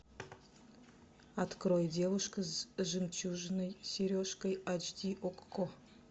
открой девушка с жемчужной сережкой ач ди окко